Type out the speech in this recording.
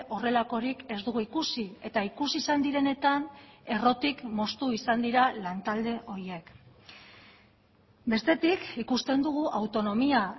horrelakorik ez dugu ikusi eta ikusi izan direnetan errotik moztu izan dira lantalde horiek bestetik ikusten dugu autonomia